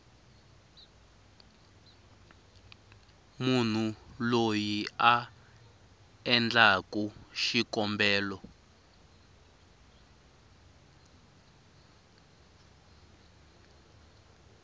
munhu loyi a endlaku xikombelo